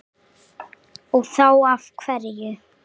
Og þá af hverju?